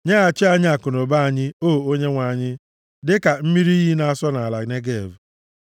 Nyeghachi anyị akụnụba anyị, o Onyenwe anyị, dịka mmiri iyi na-asọ nʼala Negev.